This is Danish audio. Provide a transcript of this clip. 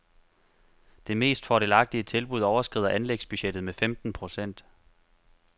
Det mest fordelagtige tilbud overskrider anlægsbudgettet med femten procent.